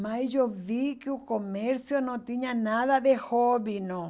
Mas eu vi que o comércio não tinha nada de hobby, não.